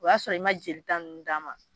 O y'a sɔrɔ i ma jeli ta nunnu d'a ma